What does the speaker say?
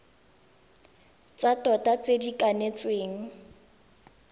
tsa tota tse di kanetsweng